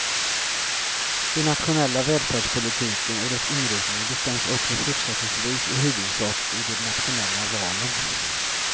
Den nationella välfärdspolitiken och dess inriktning bestäms också fortsättningsvis i huvudsak i de nationella valen.